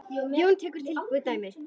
Jón tekur tilbúið dæmi.